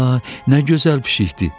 Ay, nə gözəl pişikdir!